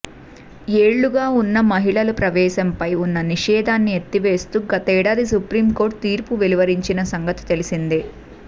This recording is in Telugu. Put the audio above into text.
ఏళ్లుగా ఉన్న మహిళల ప్రవేశంపై ఉన్న నిషేధాన్ని ఎత్తివేస్తూ గతేడాది సుప్రీం కోర్టు తీర్పు వెలువరించిన సంగతి తెలిసిందే